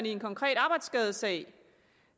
i en konkret arbejdsskadesag